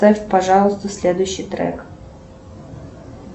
поставь пожалуйста следующий трек